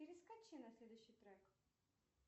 перескочи на следующий трек